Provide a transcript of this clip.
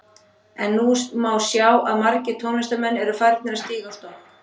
En nú má sjá að margir tónlistarmenn eru að farnir að stíga á stokk.